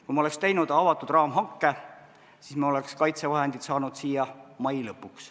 Kui ma oleks teinud avatud raamhanke, siis me oleks kaitsevahendid saanud siia mai lõpuks.